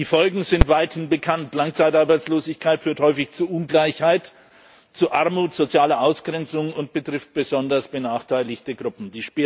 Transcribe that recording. Die Folgen sind weithin bekannt Langzeitarbeitslosigkeit führt häufig zu Ungleichheit, zu Armut und sozialer Ausgrenzung, und sie betrifft besonders benachteiligte Gruppen.